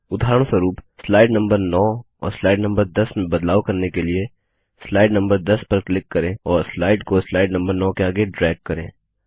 उदाहरणस्वरूप slide number 9 और slide number 10 में बदलाव करने के लिए स्लाइड नम्बर 10 पर क्लिक करें और स्लाइड को स्लाइड नम्बर 9 के आगे ड्रैग करें